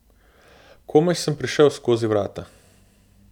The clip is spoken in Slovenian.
Komaj sem prišel skozi vrata.